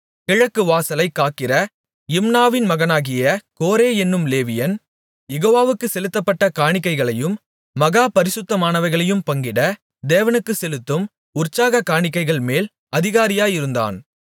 கிழக்குவாசலைக் காக்கிற இம்னாவின் மகனாகிய கோரே என்னும் லேவியன் யெகோவாவுக்குச் செலுத்தப்பட்ட காணிக்கைகளையும் மகா பரிசுத்தமானவைகளையும் பங்கிட தேவனுக்கு செலுத்தும் உற்சாகக் காணிக்கைகள்மேல் அதிகாரியாயிருந்தான்